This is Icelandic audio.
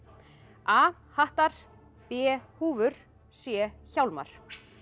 a hattar b húfur c hjálmar